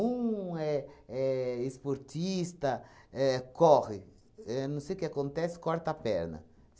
é é esportista éh corre, éh não sei o que acontece, corta a perna.